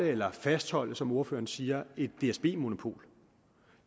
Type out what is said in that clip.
eller fastholde som ordføreren siger et dsb monopol